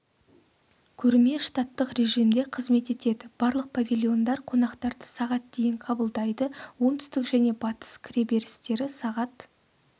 көрме штаттық режимде қызмет етеді барлық павильондар қонақтарды сағат дейін қабылдайды оңтүстік және батыс кіреберістері сағат